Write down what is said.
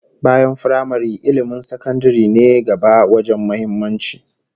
Bayan firamare, ilmin sakandaren ne gaba wajen muhimmanci